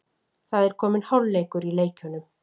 Það er kominn hálfleikur í leikjunum